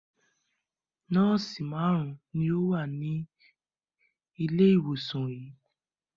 Nọ́ọ́sì márùn-ún ni ó wà ní ilé-ìwòsàn yìí.